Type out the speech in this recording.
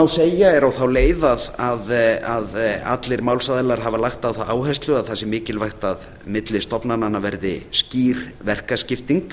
segja er á þá leið að allir málsaðilar hafa lagt á það áherslu að það sé mikilvægt að á milli stofnananna verði skýr verkaskipting